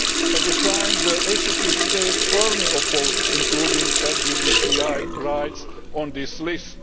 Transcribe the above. At the time the ACP States firmly opposed including LGBTI rights on this list.